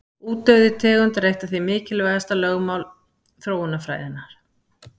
Útdauði tegunda er því eitt mikilvægasta lögmál þróunarfræðinnar.